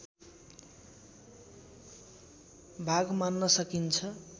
भाग मान्न सकिन्छ